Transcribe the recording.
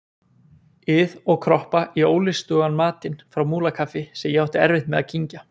ið og kroppa í ólystugan matinn frá Múlakaffi sem ég átti erfitt með að kyngja.